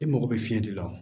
I mago bɛ fiɲɛ de la